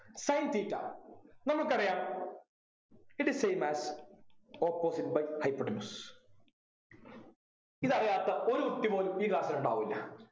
sin theta നമുക്കറിയാം it is same as opposite by hypotenuse ഇതറിയാത്ത ഒരു കുട്ടി പോലും ഈ class ൽ ഉണ്ടാവൂല.